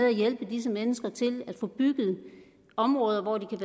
at hjælpe disse mennesker til at få bygget områder hvor de kan